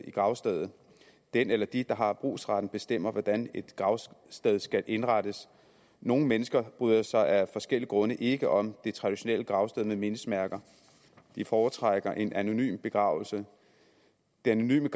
i gravstedet den eller de der har brugsretten bestemmer hvordan et gravsted skal indrettes nogle mennesker bryder sig af forskellige grunde ikke om det traditionelle gravsted med mindesmærker de foretrækker en anonym begravelse den anonyme